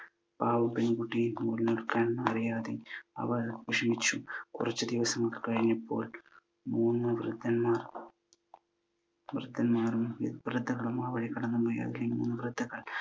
പാവം പെൺകുട്ടി നൂൽ നൂൽക്കാൻ അറിയാതെ അവൾ വിഷമിച്ചു. കുറച്ചു ദിവസം കഴിഞ്ഞപ്പോൾ മൂന്നു വൃദ്ധന്മാർ വൃദ്ധന്മാരും വൃദ്ധകളും ആ വഴി കടന്നു പോയി. അതിലെ മൂന്ന് വൃദ്ധകൾ